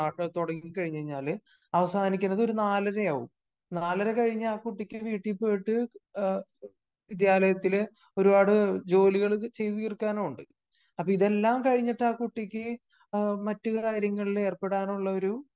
chapter തുടങ്ങി കഴിഞ്ഞ് കഴിഞ്ഞാല് അവസാനിക്കുന്നത് ഒരു നാലരയാകും നാലര കഴിഞ്ഞ് ആ കുട്ടിക്ക് വീട്ടിൽ പോയിട്ട് വിദ്യാലയത്തിലെ ഒരുപാട് ജോലികള് ചെയ്തു തീർക്കാനുമുണ്ട്.അപ്പോ ഇതെല്ലാം കഴിഞ്ഞിട്ട് ആ കുട്ടിക്ക് മറ്റ് കാര്യങ്ങളിൽ എറപ്പെടാനുള്ള ഒരു